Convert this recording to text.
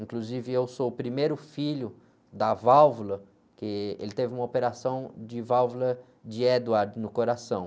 Inclusive, eu sou o primeiro filho da válvula, porque ele teve uma operação de válvula de Edward no coração.